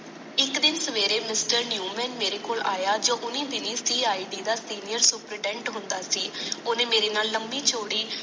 ਇੱਕ ਦਿਨ ਸਵੇਰੇ ਮਿਸਟਰ ਨਿਓਮਨ ਮੇਰੇ ਕੋਲ ਆਇਆ ਜੋ ਓਨੀ ਦਿਨੋ ਫ੍ਰੀ ਇਟੀ ਦਾ ਸਿਨਿਰ ਸੁਪਰੀਡੈਂਟ ਹੁੰਦਾ ਸੀ ਓਨੇ ਮਾਰੇ ਨਾਲ ਲੰਬੀ ਚੋੜੀ